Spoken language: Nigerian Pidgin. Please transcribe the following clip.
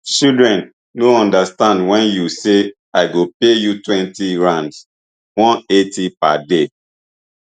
children no understand wen you say i go pay you twenty rands one eighty per day